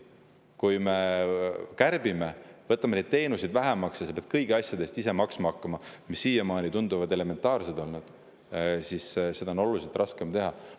Kui me kärbime, võtame teenuseid vähemaks ja sa pead ise hakkama maksma kõigi asjade eest, mis siiamaani on elementaarsed olnud, siis seda on oluliselt raskem teha.